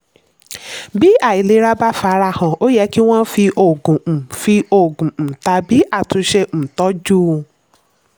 bí àìlera bá farahàn ó yẹ kí wọ́n fi òògùn um fi òògùn um tàbí àtúnṣe um tọ́jú un.